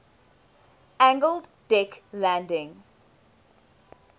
angled deck landing